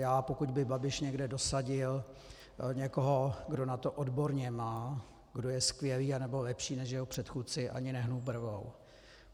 Já, pokud by Babiš někde dosadil někoho, kdo na to odborně má, kdo je skvělý anebo lepší než jeho předchůdce, ani nehnu brvou.